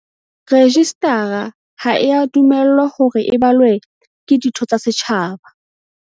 Rejistara ha ea dumellwa hore e balwe ke ditho tsa setjhaba.